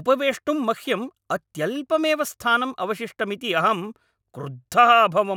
उपवेष्टुं मह्यं अत्यल्पमेव स्थानम् अवशिष्टमिति अहं क्रुद्धः अभवम्।